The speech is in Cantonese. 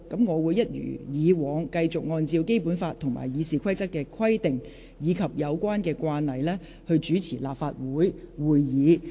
我會一如既往，繼續按照《基本法》及《議事規則》的規定，以及有關的慣例，主持立法會會議。